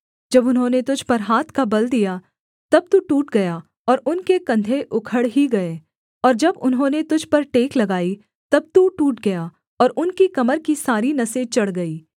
जब उन्होंने तुझ पर हाथ का बल दिया तब तू टूट गया और उनके कंधे उखड़ ही गए और जब उन्होंने तुझ पर टेक लगाई तब तू टूट गया और उनकी कमर की सारी नसें चढ़ गईं